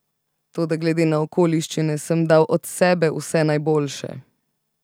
Toda glede na okoliščine sem dal od sebe vse najboljše.